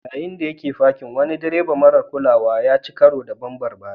Yayin da yake fakin, wani direba marar kulawa ya ci karo da bambar baya.